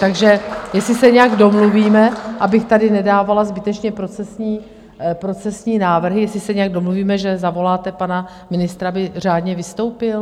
Takže jestli se nějak domluvíme, abych tady nedávala zbytečně procesní návrhy, jestli se nějak domluvíme, že zavoláte pana ministra, aby řádně vystoupil?